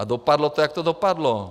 A dopadlo to, jak to dopadlo.